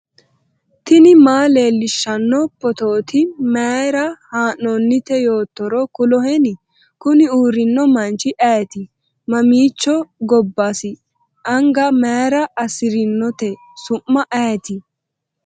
tini maa leellishshanno phootooti mayra haa'noonnite yoottoro kuloheni ? kuni uurrino manchi ayeeti? mamiichooti gobbasi anga mayra assirinote su'ma ayeti ?